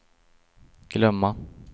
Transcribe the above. glömma